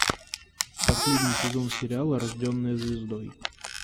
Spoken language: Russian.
последний сезон сериала рожденная звездой